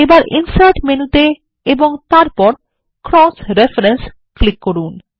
এবার ইনসার্ট মেনুতে এবং তারপর ক্রস রেফারেন্স ক্লিক করুন